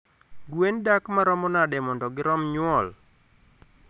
gwen dak maromo nade mondo girom nyuol?